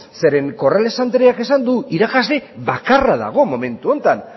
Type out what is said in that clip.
zeren corrales andreak esan du irakasle bakarra dago momentu honetan